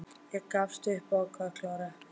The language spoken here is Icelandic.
Ég gafst upp og ákvað að klára eplið.